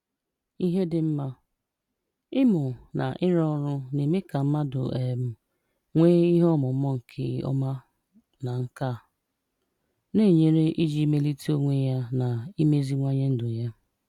Íhè Dị Ḿmà: Ị́mụ̀ na ịrụ́ ọ̀rụ́ na-èmè ka mmádụ̀ um nwee ìhè ọ̀múmà nke ọma na nkà, na-ényere iji mèlìté onwé ya na ìmèzíwànye ndù ya